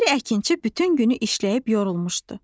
Bir əkinçi bütün günü işləyib yorulmuşdu.